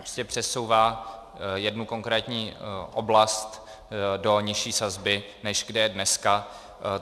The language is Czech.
Prostě přesouvá jednu konkrétní oblast do nižší sazby, než kde je dneska.